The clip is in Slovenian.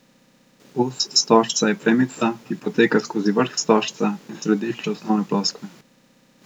Os stožca je premica, ki poteka skozi vrh stožca in središče osnovne ploskve.